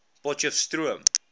potchefstroom